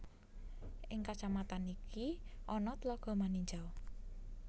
Ing kacamatan iki ana tlaga Maninjau